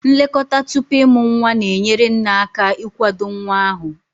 Nlekọta tupu ịmụ nwa na-enyere nne aka ịkwado nwa ahụ.